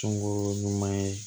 Sunguru ɲuman ye